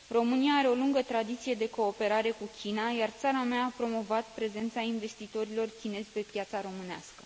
România are o lungă tradiție de cooperare cu China, iar țara mea a promovat prezența investitorilor chinezi pe piața românească.